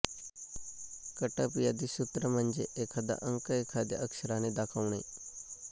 कटपयादि सूत्र म्हणजे एखादा अंक एखाद्या अक्षराने दाखवणे